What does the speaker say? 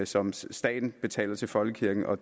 som staten betaler til folkekirken og